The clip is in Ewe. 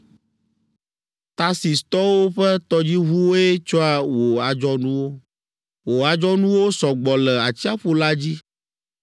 “Tarsistɔwo ƒe tɔdziʋuwoe tsɔa wò adzɔnuwo. Wò adzɔnuwo sɔ gbɔ le atsiaƒu la dzi.